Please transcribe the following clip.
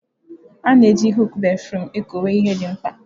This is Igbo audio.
A na eji huụkụ béfrụm ekọwe ihe ndị mkpa.